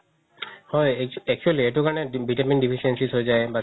হয় actually এইটো কাৰণে vitamin deficiency হয় যাই